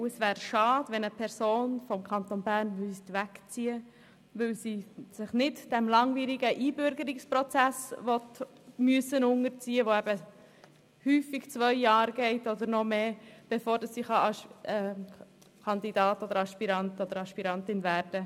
Es wäre schade, wenn eine Person aus dem Kanton Bern wegziehen müsste, weil sie sich nicht dem langwierigen Einbürgerungsprozess unterziehen möchte, welcher häufig zwei Jahre oder mehr dauert, um Polizistin oder Polizist zu werden.